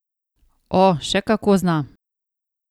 O, še kako zna.